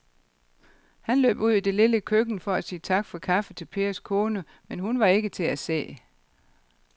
Han løb ud i det lille køkken for at sige tak for kaffe til Pers kone, men hun var ikke til at se.